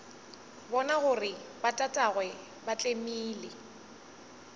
bona gore botatagwe ba tlemile